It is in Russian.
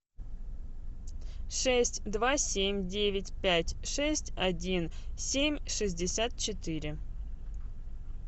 шесть два семь девять пять шесть один семь шестьдесят четыре